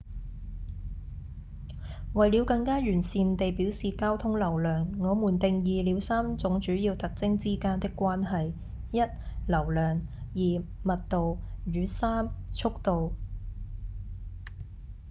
為了更加完善地表示交通流量我們定義了三種主要特徵之間的關係 ：1 流量2密度與3速度